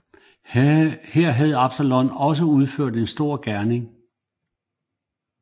Her havde Absalon også udført en stor gerning